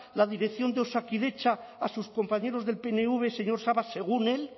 la dirección de osakidetza a sus compañeros del pnv señor sabas según él